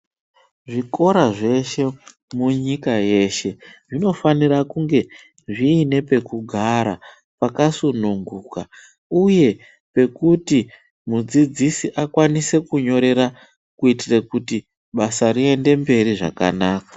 Zvikora zveshe munyika yeshe zvinofanira kunge zviine pekugara pakasununguka uye pekuti mudzidzisi akwanise kunyorera kuitire kuti basa rienderere mberi zvakanaka.